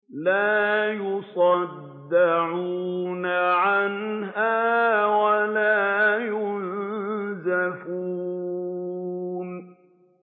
لَّا يُصَدَّعُونَ عَنْهَا وَلَا يُنزِفُونَ